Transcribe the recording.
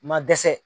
Ma dɛsɛ